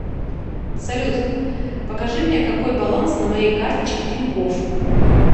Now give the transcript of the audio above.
салют покажи мне какой баланс на моей карточке тинькофф